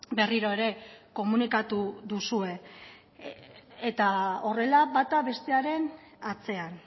berriro ere komunikatu duzue eta horrela bata bestearen atzean